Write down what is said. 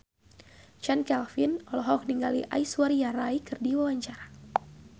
Chand Kelvin olohok ningali Aishwarya Rai keur diwawancara